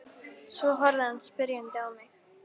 Svo horfði hann spyrjandi á mig.